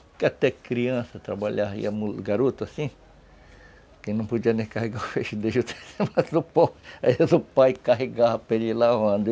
Porque até criança trabalharia, garoto assim, que não podia nem carregar o feixe de judaíza, mas o pai carregava para ele ir lavando